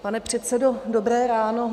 Pane předsedo, dobré ráno.